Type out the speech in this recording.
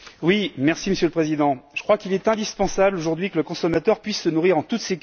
Monsieur le Président, je crois qu'il est indispensable aujourd'hui que le consommateur puisse se nourrir en toute sécurité.